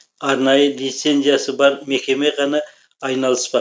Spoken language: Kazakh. арнайы лицензиясы бар мекеме ғана айналыспақ